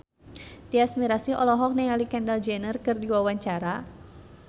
Tyas Mirasih olohok ningali Kendall Jenner keur diwawancara